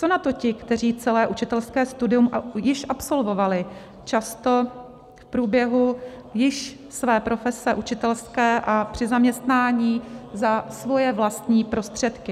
Co na to ti, kteří celé učitelské studium již absolvovali, často v průběhu již své profese učitelské a při zaměstnání za svoje vlastní prostředky?